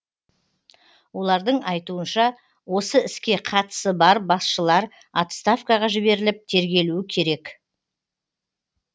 олардың айтуынша осы іске қатысы бар басшылар отставкаға жіберіліп тергелуі керек